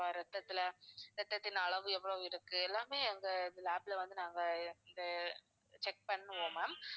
ரத்தத்தில ரத்தத்தின் அளவு எவ்வளவு இருக்கு எல்லாமே எங்க lab ல வந்து நாங்க அஹ் check பண்ணுவோம் ma'am